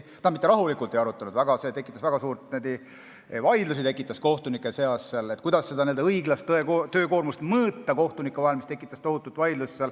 Tähendab, me mitte ei arutanud rahulikult, see tekitas väga suuri vaidlusi kohtunike seas, kuidas seda kohtunike õiglast töökoormust mõõta.